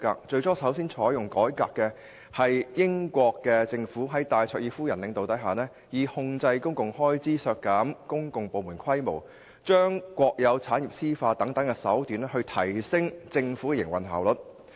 最先採取改革措施的，是在戴卓爾夫人領導下的英國政府，以控制公共開支、削減公共部門規模、將國有產業私有化等手段，提升政府的營運效率。